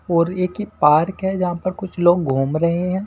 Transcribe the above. और एक ही पार्क है जहां पर कुछ लोग घूम रहे हैं।